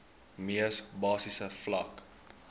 mees basiese vlak